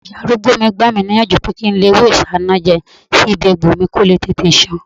Ìyá arúgbó mi gbà mí níyànjú pé kí n lo ewé isanaje sí ibi egbò mi ko le tètè san